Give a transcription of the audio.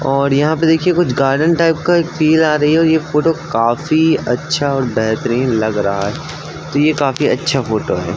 और यहाँ पे देखिए कुछ गार्डन टाइप का एक फील आ रही है और ये फोटो काफी अच्छा और बेहतरीन लग रहा है। तो ये काफी अच्छा फोटो है।